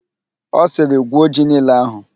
Ọ sịrị, "gwuo ji niile ahụ"!